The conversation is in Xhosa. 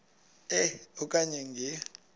e okanye nge